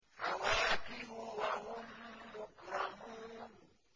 فَوَاكِهُ ۖ وَهُم مُّكْرَمُونَ